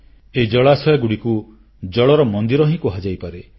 ଏହି ଜଳାଶୟଗୁଡ଼ିକୁ ଜଳର ମନ୍ଦିର ହିଁ କୁହାଯାଇପାରେ